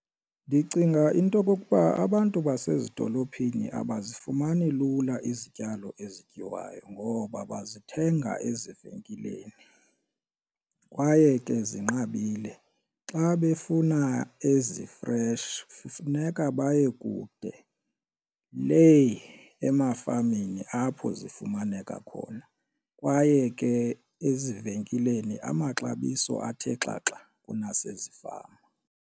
Ndicinga into okokuba abantu basezidolophini abazifumani lula izityalo ezityiwayo ngoba bazithenga ezivenkileni kwaye ke zinqabile. Xa befuna ezi-fresh funeka baye kude lee emafameni apho zifumaneka khona kwaye ke ezivenkileni amaxabiso athe xaxa kunasezifama.